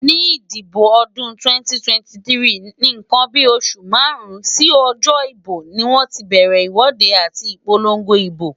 Nígbà ìdìbò ọdún 2023,nnkan bí oṣù márùn-ún sí ọjọ́ ìbò ni wọ́n ti bẹ̀rẹ̀ ìwọ́de àti ìpolongo ibo.